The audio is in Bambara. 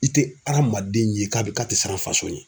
I te adamaden ye k'a be k'a te siran faso ye